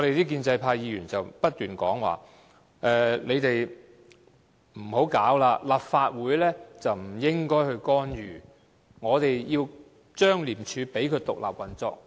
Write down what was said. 建制派議員不斷說我們不應該這樣做，立法會不應該干預，要讓廉署獨立運作。